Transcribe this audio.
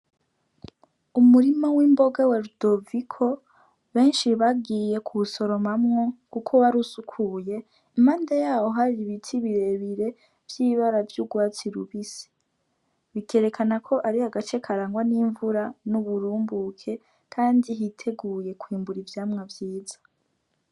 Umurima w'imboga wa Rudoviko benshi bagiye kuwusoromamwo kubera ko wari usukuye, impande yawo hari ibiti birebire vy'ibara vy'urwatsi rubisi. Bikerekana ko ari agace karangwa n'imvura n'uburumbuke, kandi hiteguye kwimbuka ivyamwa vyiza.